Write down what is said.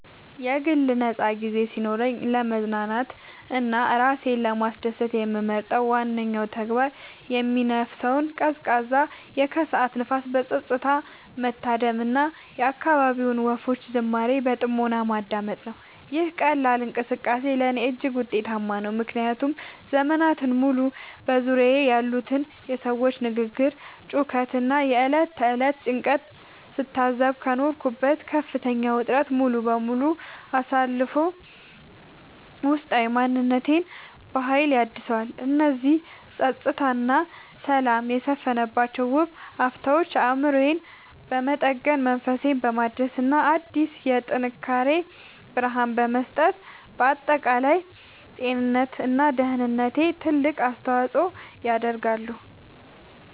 የግል ነፃ ጊዜ ሲኖረኝ ለመዝናናት እና ራሴን ለማስደሰት የምመርጠው ዋነኛው ተግባር የሚነፍሰውን ቀዝቃዛ የከሰዓት ንፋስ በፀጥታ መታደም እና የአካባቢውን ወፎች ዝማሬ በጥሞና ማዳመጥ ነው። ይህ ቀላል እንቅስቃሴ ለእኔ እጅግ ውጤታማ ነው፤ ምክንያቱም ዘመናትን ሙሉ በዙሪያዬ ያሉትን የሰዎች ግርግር፣ ጩኸት እና የዕለት ተዕለት ጭንቀት ስታዘብ ከኖርኩበት ከፍተኛ ውጥረት ሙሉ በሙሉ አሳርፎ ውስጣዊ ማንነቴን በሀይል ያድሰዋል። እነዚህ ፀጥታ እና ሰላም የሰፈነባቸው ውብ አፍታዎች አእምሮዬን በመጠገን፣ መንፈሴን በማደስ እና አዲስ የጥንካሬ ብርሃን በመስጠት ለአጠቃላይ ጤንነቴ እና ደህንነቴ ትልቅ አስተዋፅዖ ያደርጋሉ።